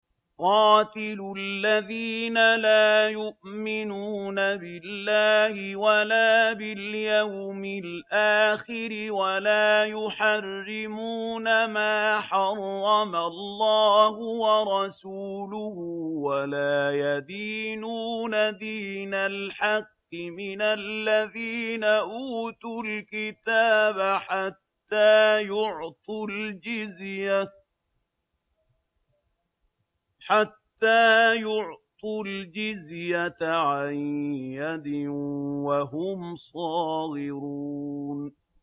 قَاتِلُوا الَّذِينَ لَا يُؤْمِنُونَ بِاللَّهِ وَلَا بِالْيَوْمِ الْآخِرِ وَلَا يُحَرِّمُونَ مَا حَرَّمَ اللَّهُ وَرَسُولُهُ وَلَا يَدِينُونَ دِينَ الْحَقِّ مِنَ الَّذِينَ أُوتُوا الْكِتَابَ حَتَّىٰ يُعْطُوا الْجِزْيَةَ عَن يَدٍ وَهُمْ صَاغِرُونَ